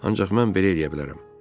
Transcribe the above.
Ancaq mən belə eləyə bilərəm.